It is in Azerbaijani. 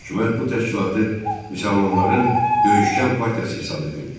Hökumət bu təşkilatı müsəlmanların döyüşkən partiyası hesab edirdi.